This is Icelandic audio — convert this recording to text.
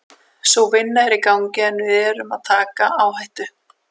Sú vinna er í gangi en við erum að taka áhættu.